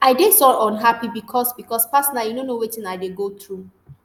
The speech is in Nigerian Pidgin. i dey so unhappy becos becos personally you no know wetin i dey go through